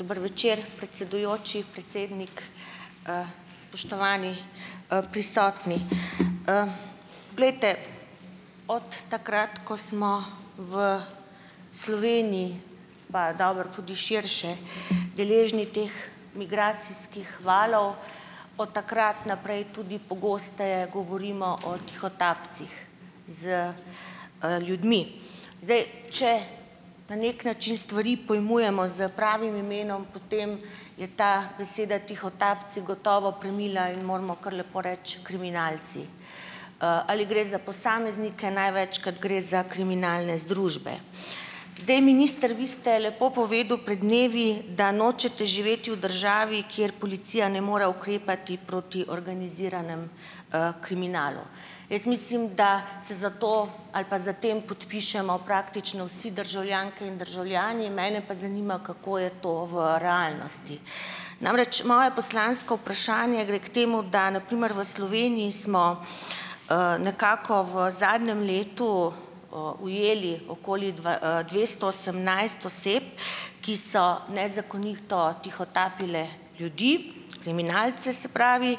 Dober večer, predsedujoči, predsednik. Spoštovani, prisotni. Glejte, od takrat, ko smo v Sloveniji, pa dobro, tudi širše, deležni teh migracijskih valov, od takrat naprej tudi pogosteje govorimo o tihotapcih z, ljudmi. Zdaj, če na neki način stvari pojmujemo s pravim imenom, potem je ta beseda tihotapci gotovo premila in moramo kar lepo reči kriminalci. Ali gre za posameznike? Največkrat gre za kriminalne združbe. Zdaj, minister, vi ste lepo povedal pred dnevi, da nočete živeti v državi, kjer policija ne more ukrepati proti organiziranemu, kriminalu. Jaz mislim, da se za to ali pa za tem podpišemo praktično vsi državljanke in državljani. Mene pa zanima, kako je to v realnosti. Namreč moje poslansko vprašanje gre k temu, da na primer v Sloveniji smo, nekako v zadnjem letu, ujeli okoli dvesto osemnajst oseb, ki so nezakonito tihotapile ljudi, kriminalce se pravi,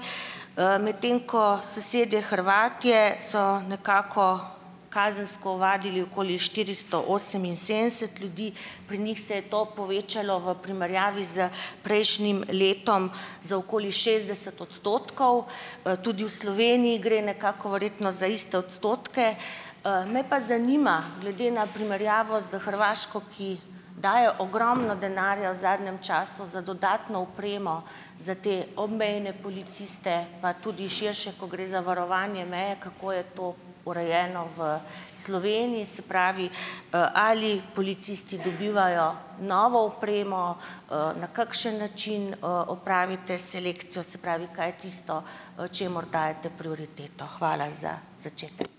medtem ko sosedje Hrvatje so nekako kazensko ovadili okoli štiristo oseminsedemdeset ljudi. Pri njih se je to povečalo v primerjavi s prejšnjim letom za okoli šestdeset odstotkov. Tudi v Sloveniji gre nekako verjetno za iste odstotke. Me pa zanima glede na primerjavo s Hrvaško, ki daje ogromno denarja v zadnjem času za dodatno opremo za te obmejne policiste, pa tudi širše, ko gre za varovanje meje, kako je to urejeno v Sloveniji, se pravi, ali policisti dobivajo novo opremo, na kakšen način, opravite selekcijo, se pravi, kaj je tisto, čemur dajete prioriteto. Hvala, za začetek.